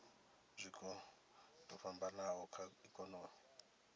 zwiko zwo fhambanaho kha ikonomi